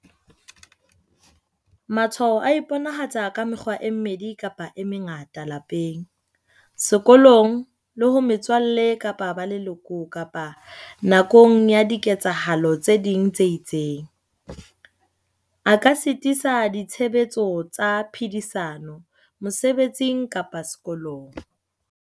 "Matshwao a iponahatsa ka mekgwa e mmedi kapa e mengata lapeng, sekolong, le ho metswalle kapa ba leloko kapa nakong ya diketsahalo tse ding tse itseng, a ka sitisa ditshebetso tsa phedisano, mosebetsing kapa sekolong."